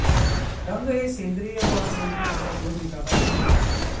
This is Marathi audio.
रंग हे सेंद्रिय व असेंद्रिय अशा दोन विभागात मोडतात